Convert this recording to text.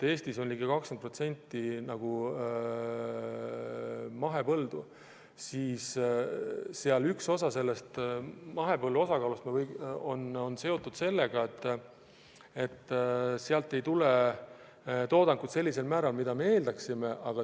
Eestis on ligi 20% mahepõlde ja üks tõsiasi, mis mahepõllundusega seotud on, on see, et sealt ei tule toodangut sellisel määral, nagu me eeldame.